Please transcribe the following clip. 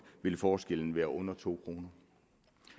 ville forskellen være under to kroner